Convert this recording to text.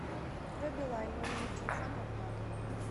открой билайн мой номер телефона оплата